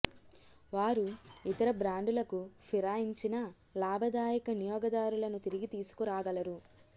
వారు ఇతర బ్రాండులకు ఫిరాయించిన లాభదాయక వినియోగదారులను తిరిగి తీసుకురాగలరు